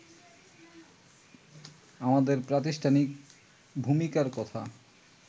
আমাদের প্রাতিষ্ঠানিক ভূমিকার কথা